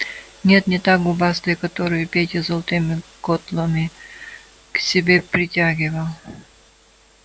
нет не та губастая которую петя золотыми котлами к себе притягивал